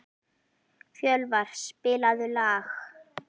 Fjölvar, spilaðu lag.